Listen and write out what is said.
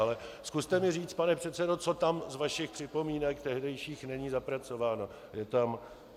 Ale zkuste mi říct, pane předsedo, co tam z vašich připomínek tehdejších není zapracováno.